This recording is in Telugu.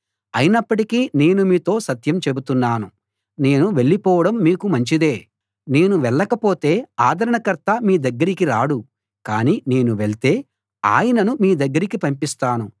అయినప్పటికీ నేను మీతో సత్యం చెబుతున్నాను నేను వెళ్ళిపోవడం మీకు మంచిదే నేను వెళ్ళకపోతే ఆదరణకర్త మీ దగ్గరికి రాడు కాని నేను వెళ్తే ఆయనను మీ దగ్గరికి పంపిస్తాను